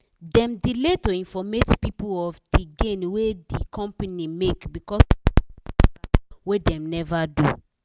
dem delay to informate people of di gain wey di company make becos of tax matter wey dem never do.